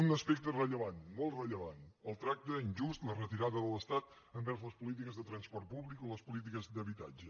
un aspecte rellevant molt rellevant el tracte injust la retirada de l’estat envers les polítiques de transport públic o les polítiques d’habitatge